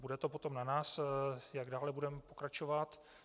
Bude to potom na nás, jak dále budeme pokračovat.